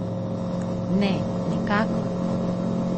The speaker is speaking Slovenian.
Ne, nikakor!